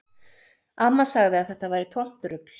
Amma sagði að þetta væri tómt rugl